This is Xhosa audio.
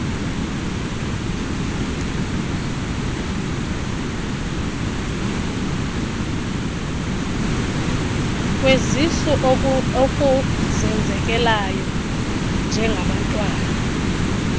kwezisu okuzenzekelayo njengabantwana